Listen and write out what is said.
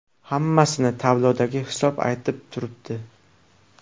Hammasini tablodagi hisob aytib turibdi.